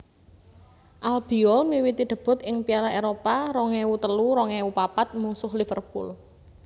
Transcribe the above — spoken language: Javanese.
Albiol miwiti debut ing Piala Eropa rong ewu telu rong ewu papat mungsuh Liverpool